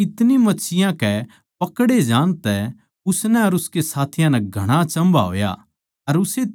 क्यूँके इतनी मच्छियाँ कै पकड़े जाण तै उसनै अर उसके साथियाँ नै घणा अचम्भा होया